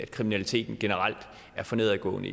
kriminaliteten generelt er for nedadgående